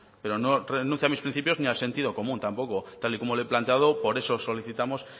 pero no renuncio a mis principios ni al sentido común tampoco tal y como le he planteado por eso solicitamos